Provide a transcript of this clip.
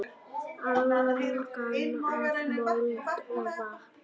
Angan af mold og vatni.